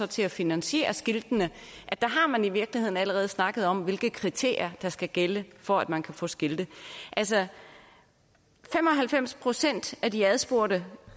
til at finansiere skiltene i virkeligheden allerede har snakket om hvilke kriterier der skal gælde for at man kan få skilte altså fem og halvfems procent af de adspurgte